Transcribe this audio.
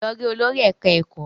Lọ rí olórí ẹ̀ká ẹ̀kọ́!